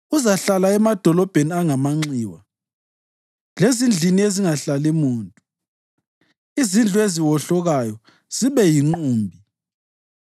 uzahlala emadolobheni angamanxiwa lezindlini ezingahlali muntu, izindlu eziwohlokayo zibe yinqumbi.